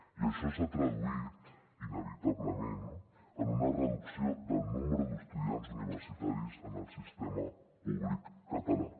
i això s’ha traduït inevitablement en una reducció del nombre d’estudiants universitaris en el sistema públic català